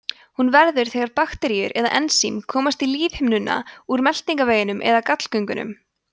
hún verður þegar bakteríur eða ensím komast í lífhimnuna úr meltingarveginum eða gallgöngunum